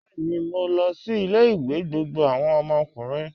Bẹẹni, mó lọ sí ilẹ̀-ìwé gbogbo awọn ọmọkùnrin.